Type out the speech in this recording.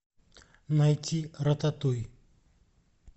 найти рататуй